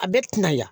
A bɛɛ tɛna ya